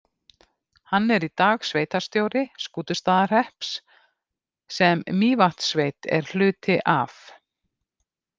Hann er í dag sveitarstjóri Skútustaðahrepps, sem Mývatnssveit er hluti af.